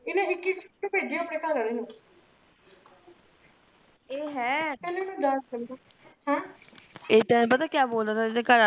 ਇਹਨੇ ਇੱਕ ਇੱਕ ਫੋਟੋ ਭੇਜੀ ਆਪਣੇ ਘਰ ਵਾਲੇ ਨੂੰ